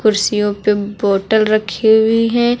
कुर्सियों पे बोतल रखी हुई हैं।